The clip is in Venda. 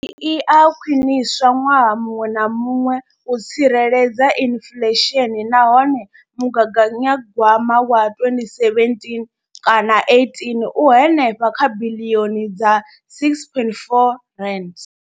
Iyi i a khwiniswa ṅwaha muṅwe na muṅwe u tsireledza inflesheni nahone mugaganya gwama wa 2017 kana 18 u henefha kha biḽioni dza R6.4.